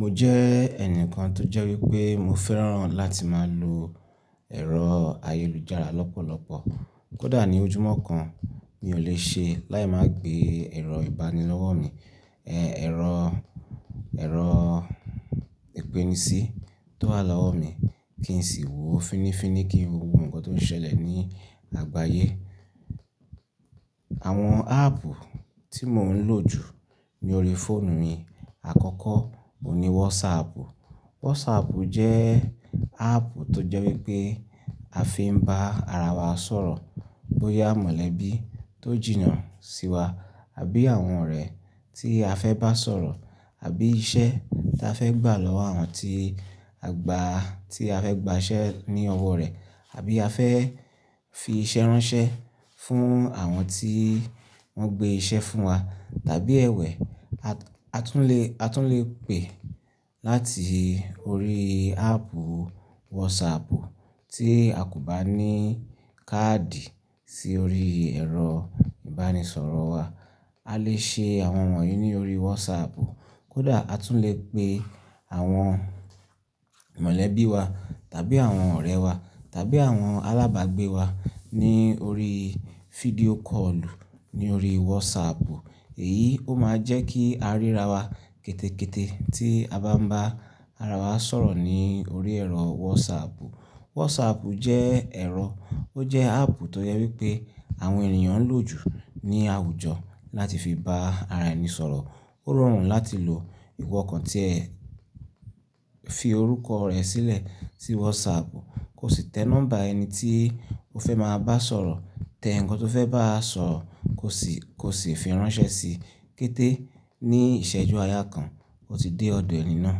Mo jẹ́ ẹnìkan tó jẹ́ wípé mo fẹ́ràn láti máa lo ẹ̀rọ ayélujára lọ́pọ̀lọpọ̀. Kódà ní ojúmọ́ kan mi ò lè ṣe láì má gbé ẹ̀rọ ìbánilọ́wọ́ mi, ẹ̀rọ ìpènísí tó wá lọ́wọ́ mi kí n sì wo fínnífínní kí n wo gbogbo ǹkan tó ń ṣẹlẹ̀ ní àgbáyé. Àwọn áàpù tí mò ń lò jù ní orí fóònù mi, àkọ́kọ́ oun ní WhatsApp. WhatsApp jẹ́ áàpù tó jẹ wípé a fi ń bá ara wa sọ̀rọ̀ bóyá mọ̀lẹ́bí tó jìnnà sí wa àbí àwọn ọ̀rẹ́ tí a fẹ́ bá sọ̀rọ̀ àbí iṣẹ́ tí a fẹ́ gbà lọ́wọ́ àwọn tí a gbà, tí a fẹ́ gbà iṣẹ́ ní ọwọ́ rẹ̀ àbí a fẹ́ fi iṣẹ́ ránṣẹ́ fún àwọn tí wọ́n gbé iṣẹ́ fún wa tàbí ẹ̀wẹ́ a tún lè, a tún lè pè láti orí áàpù WhatsApp tí a kò bá ní káàdì sí orí ẹ̀rọ ìbánisọ̀rọ̀ wa. A lè ṣe àwọn wọ̀nyí ní orí WhatsApp. Kódà a tún lè pe àwọn mọ̀lẹ́bí wa tàbí àwọn ọ̀rẹ́ wa tàbí àwọn alábàgbé wa ní orí fídíò kọ́ọ̀lù ní orí WhatsApp. Èyí ó máa jẹ́ kí a ríra wa kétékété tí a bá ń bá ara wa sọ̀rọ̀ ní orí ẹ̀rọ WhatsApp. WhatsApp jẹ́ ẹ̀rọ, ó jẹ́ áàpù tó jẹ́ wípé àwọn ènìyàn ń lò jù ní àwùjọ láti fi bá ara ẹni sọ̀rọ̀. Ó rọrùn láti lò. Ìwọ kàn tí ẹ fi orúkọ rẹ sílẹ̀ sí WhatsApp, ko sì tẹ nọ́mbà ẹni tí o fẹ́ máa bá sọ̀rọ̀, tẹ ǹkan tó fẹ́ báa sọ, ko sì fi ránṣẹ́ sí i. Kété ní ìṣẹ́jú àyà kan, o ti dé ọ̀dọ̀ ẹni náà.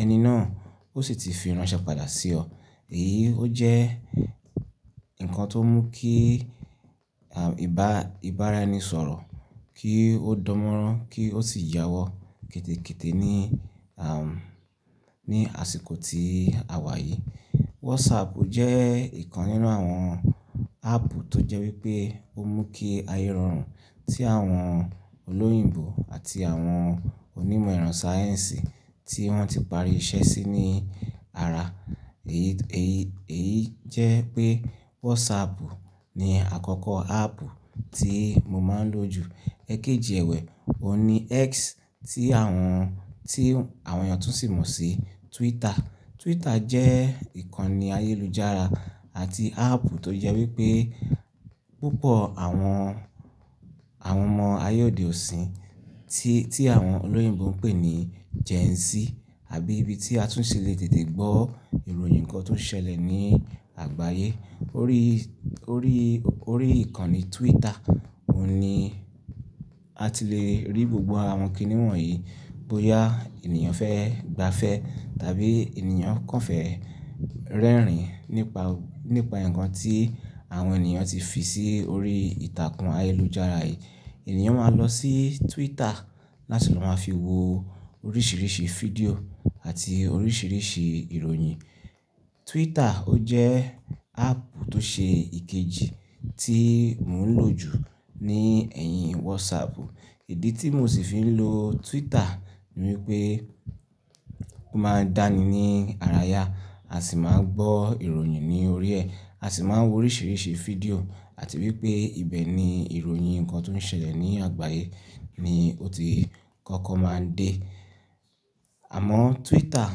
Ẹni náà ó sì ti fi ránṣẹ́ padà sí ọ. Èyí ó jẹ́ ǹkan tó mú kí ìbára ẹni sọ̀rọ̀ kí ó dánmọ́rán kí ó sì yáwọ́ kétékété ní àsìkò tí a wà yìí. WhatsApp jẹ́ ìkan nínú àwọn áàpù tó jẹ́ wípé ó mú kí aye rọrùn tí àwọn olóyìnbo àti àwọn onímọ̀ iran sáyẹ́ǹsì tí wọ́n ti parí iṣẹ́ sí ní ara. Èyí jẹ́ pé WhatsApp ni àkọ́kọ́ áàpù tí mo máa ń lò jù. Ẹ̀kejì ẹ̀wẹ́ òun ní X tí àwọn èèyàn tún sì mọ̀ sí Twitter. Twitter jẹ́ ìkànnì ayélujára àti áàpù tó jẹ́ wípé púpọ̀ àwọn ọmọ ayé òde òsin tí àwọn olóyìnbo ń pè ní Gen Z àbí ibi tí a tún si lè tètè gbọ́ ìròyìn ǹkan tó ń ṣẹlẹ̀ ní àgbáyé. Orí, orí, orí ìkànnì Twitter òní a ti lè rí gbogbo àwọn kìníwọ̀n yìí bóyá ènìyàn fẹ́ gbafẹ́ tàbí ènìyàn kàn fẹ́ rẹ́rìn nípa ǹkan tí àwọn ènìyàn ti fi sí orí ìtàkùn ayélujára yìí. Ènìyàn máa lọ sí Twitter láti lọ máa fi wo oríṣìríṣí fídíò àti oríṣìríṣì ìròyìn. Twitter ó jẹ́ áàpù tó ṣe ìkejì tí mò ń lò jù ní ẹ̀yìn WhatsApp. Ìdí tí mò sì fi ń lo Twitter ni wípé ó máa ń dáni ní ara ya àsi máa ń gbọ́ ìròyìn ní orí ẹ, àsi máa ń wo oríṣìíríṣìí fídíò àti wípé ibẹ̀ ni ìròyìn ǹkan tó ń ṣẹlẹ̀ ní àgbáyé ni ó ti kọ́kọ́ máa ń dé. Àmọ́ Twitter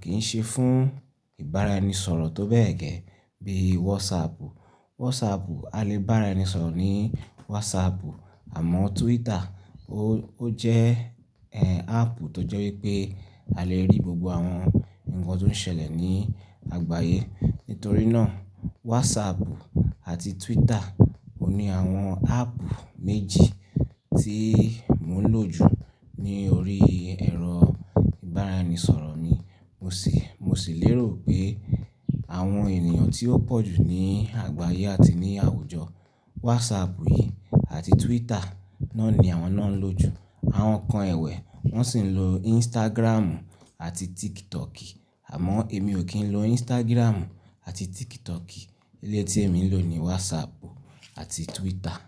kì í ṣe fún ìbára ẹni sọ̀rọ̀ tó bẹ́ẹ̀ gẹ́ bí WhatsApp. WhatsApp, a lè bá ara ẹni sọ̀rọ̀ ní WhatsApp. Àmọ́ Twitter ó jẹ́ áàpù tó jẹ́ wípé a lè rí gbogbo àwọn ǹkan tó ń ṣẹlẹ̀ ní àgbáyé. Nítorí náà WhatsApp àti Twitter òní àwọn áàpù méjì tí mò ń lò jù ní orí ẹ̀rọ ìbára ẹni sọ̀rọ̀ mi. Mo sì lérò pé àwọn ènìyàn tí ó pọ̀jù ní àgbáyé àti ní àwùjọ WhatsApp yìí àti Twitter náà ni àwọn náà ń lò jù. Àwọn kan ẹ̀wẹ́ wọ́n sì ń lo Instagramù àti TikTok. Àmọ́ èmi ò kí ń lo Instagramù àti TikTok. Eleyii tí èmi ń lò ni WhatsApp àti Twitter.